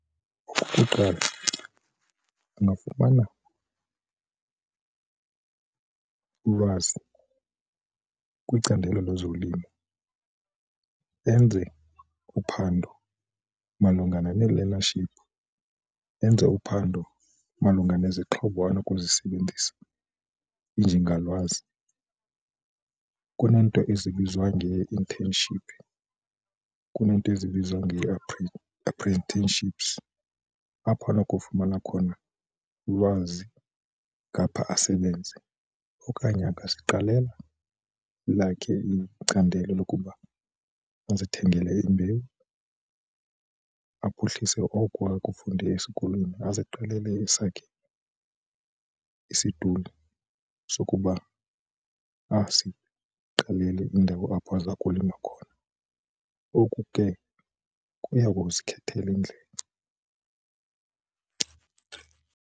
Okokuqala, agafumana ulwazi kwicandelo lezolimo enze uphando malunga nee-learnership enze uphando malunga nezixhobo anokuzisebenzisa iinjingalwazi kuneento ezibizwa ngee-internship, kuneento ezibizwa apprenticeships apho anokufumana khona ulwazi ngapha asebenze okanye angaziqalela elakhe icandelo lokuba uzithengele imbewu aphuhlise oko akufunde esikolweni aziqalele esakhe isiduli sokuba aziqalele indawo apho aza kulima khona. Oku ke kuya kuzikhethela indlela.